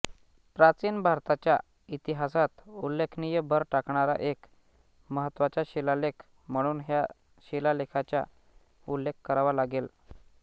प्राचीन भारताच्या इतिहासात उल्लेखनीय भर टाकणारा एक महत्त्वाचा शिलालेख म्हणून ह्या शिलालेखाचा उल्लेख करावा लागेल